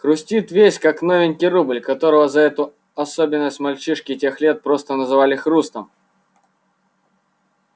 хрустит весь как новенький рубль которого за эту особенность мальчишки тех лет просто называли хрустом